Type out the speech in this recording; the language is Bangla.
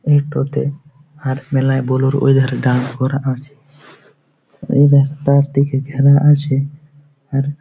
এটাতে হাত মেলায় ব্লোরো ওধারে দাঁড় করা আছে ও রাস্তার দিকে ঘেরা আছে আর --